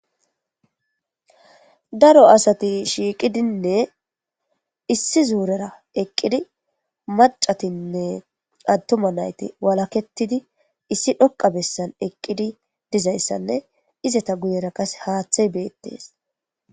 Daro asati shiiqidinne issi zuurera eqqidi macatinne attuma nayti walaketidi issi dhoqa bessan eqqidi dizayssanne izata guyera kase haaththey beettees.